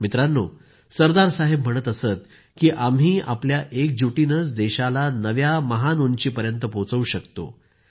मित्रांनो सरदार साहेब म्हणत असत की आपण आपल्या एकजुटीनंच देशाला नव्या महान उंचीपर्यंत पोहचवू शकतो